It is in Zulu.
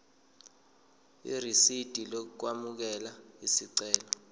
irisidi lokwamukela isicelo